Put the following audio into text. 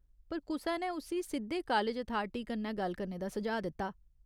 पर, कुसै ने उस्सी सिद्धे कालज अथारटी कन्नै गल्ल करने दा सुझाऽ दित्ता।